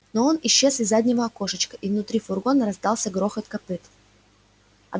но он исчез из заднего окошечка и внутри фургона раздался грохот копыт